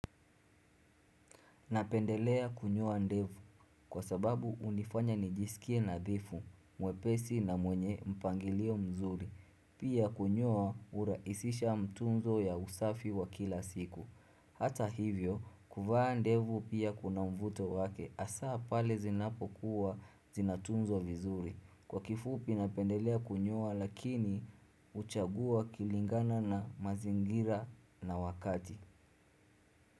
Napendelea kunyoa ndevu kwa sababu hunifanya nijisikie nandifu mwepesi na mwenye mpangilio mzuri. Pia kunyoa hurahisisha mtunzo ya usafi wa kila siku. Hata hivyo, kuvaa ndevu pia kuna mvuto wake hasa pale zinapokuwa zinatunzwa vizuri. Kwa kifupi napendelea kunyoa lakini huchagua kilingana na mazingira na wakati.